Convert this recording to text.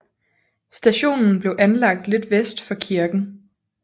Stationen blev anlagt lidt vest for kirken